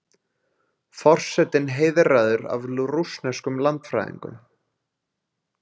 Forsetinn heiðraður af rússneskum landfræðingum